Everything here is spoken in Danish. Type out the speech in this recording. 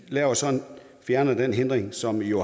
fjerner så den hindring som jo